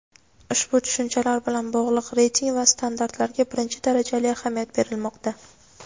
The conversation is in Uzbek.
ushbu tushunchalar bilan bog‘liq reyting va standartlarga birinchi darajali ahamiyat berilmoqda.